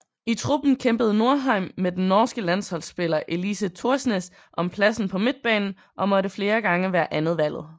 I truppen kæmpede Norheim med den norske landsholdspiller Elise Thorsnes om pladsen på midtbanen og måtte flere gange være andetvalget